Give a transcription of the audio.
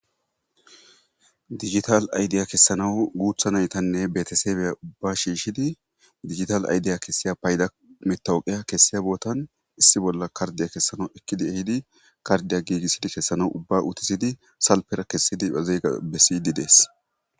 digital aydeya kessanawu guutha naytanne betesebeya ubba shiishidi digital aydeya kessiya payda metawuqiya kessiya bootan issi bolla kardiya kessanaw ekkidi ehidi kardiya giigissidi kessanaw ubba utisidi salpera kessidi azeega bessiydi dees